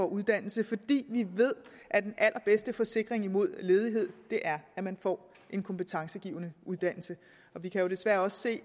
uddannelse fordi vi ved at den allerbedste forsikring mod ledighed er at man får en kompetencegivende uddannelse vi kan jo desværre også